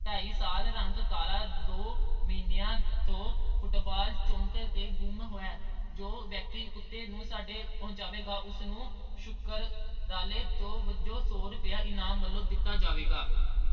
ਢਾਈ ਸਾਲ ਰੰਗ ਕਾਲਾ ਦੋ ਮਹੀਨਿਆਂ ਤੋਂ Football chowk ਤੋਂ ਗੁੰਮ ਹੈ ਜੋ ਵਿਅਕਤੀ ਕੁੱਤੇ ਨੂੰ ਸਾਡੇ ਪਹੁੰਚਾਵੇਗਾ ਉਸ ਨੂੰ ਸ਼ੁਕਰਾਨੇ ਅਹ ਵਜੋਂ ਸੌ ਰੁਪਏ ਦਿੱਤਾ ਜਾਵੇਗਾ।